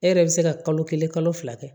E yɛrɛ bɛ se ka kalo kelen kalo fila kɛ